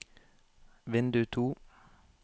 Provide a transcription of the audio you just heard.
vindu to